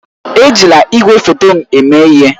Ejila igwefoto m eme ihe!